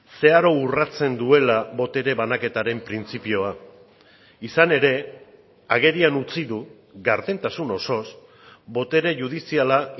zeharo urratzen duela botere banaketaren printzipioa izan ere agerian utzi du gardentasun osoz botere judiziala